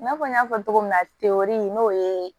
I n'a fɔ n y'a fɔ cogo min na n'o ye